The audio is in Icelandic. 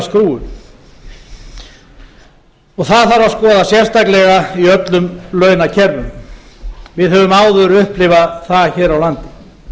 það þarf að skoða sérstaklega í öllum launakerfum við höfum áður upplifað það hér